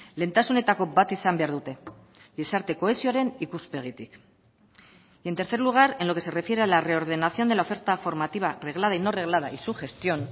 lehentasunetako bat izan behar dute gizarte kohesioaren ikuspegitik y en tercer lugar en lo que se refiere a la reordenación de la oferta formativa reglada y no reglada y su gestión